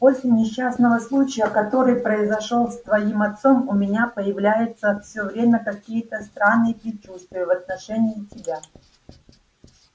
после несчастного случая который произошёл с твоим отцом у меня появляются всё время какие-то странные предчувствия в отношении тебя